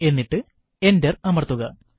എന്നിട്ട് എന്റർ അമർത്തുക